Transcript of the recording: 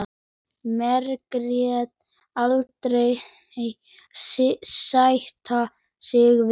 Margrét aldrei sætta sig við.